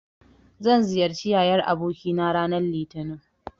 Zan ziyarci yayar abokina ranar Litinin.